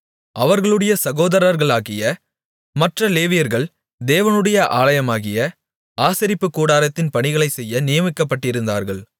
அவர்களுடைய சகோதரர்களாகிய மற்ற லேவியர்கள் தேவனுடைய ஆலயமாகிய ஆசரிப்புக்கூடாரத்தின் பணிகளைச் செய்ய நியமிக்கப்பட்டிருந்தார்கள்